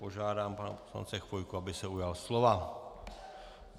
Požádám pana poslance Chvojku, aby se ujal slova.